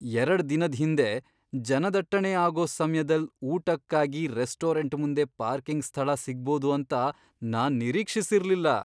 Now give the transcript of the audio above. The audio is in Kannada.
ಎರಡ್ ದಿನದ್ ಹಿಂದೆ, ಜನದಟ್ಟಣೆ ಆಗೋ ಸಮ್ಯದಲ್ ಊಟಕ್ಕಾಗಿ ರೆಸ್ಟೋರೆಂಟ್ ಮುಂದೆ ಪಾರ್ಕಿಂಗ್ ಸ್ಥಳ ಸಿಗ್ಬೋದು ಅಂತ ನಾನ್ ನಿರೀಕ್ಷಿಸಿರ್ಲಿಲ್ಲ.